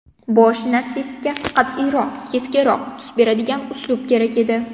Bosh natsistga qat’iyroq, keskinroq tus beradigan uslub kerak edi.